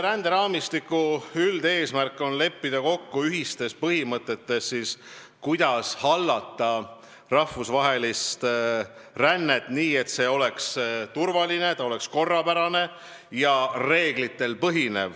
Ränderaamistiku üldine eesmärk on leppida kokku ühistes põhimõtetes, kuidas ohjata rahvusvahelist rännet nii, et see oleks turvaline ja korrapärane ning põhineks reeglitel.